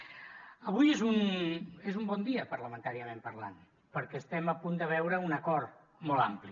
avui és un bon dia parlamentàriament parlant perquè estem a punt de veure un acord molt ampli